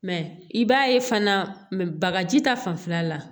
Mɛ i b'a ye fana bagaji ta fanfɛla la